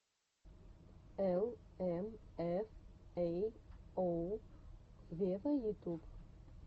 эл эм эф эй оу вево ютуб